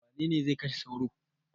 Wane ne zai kashe sauro?